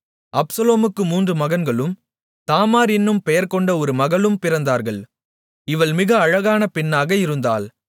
அப்சலோமுக்கு மூன்று மகன்களும் தாமார் என்னும் பெயர்கொண்ட ஒரு மகளும் பிறந்தார்கள் இவள் மிக அழகான பெண்ணாக இருந்தாள்